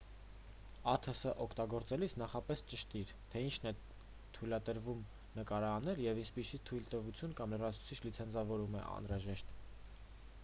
աթս օգտագործելիս նախապես ճշտիր թե ինչն է թույլատրվում նկարահանել և ինչպիսի թույլտվություն կամ լրացուցիչ լիցենզավորում է անհրաժեշտ